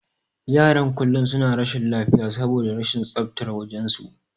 Yaran kullum suna rashin lafiya saboda rashin tsaftar wajen su.